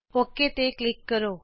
okay ਤੇ click ਕਰੋ